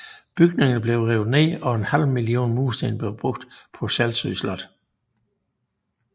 Bygningerne blev revet ned og en halv million mursten blev brugt på Selsø Slot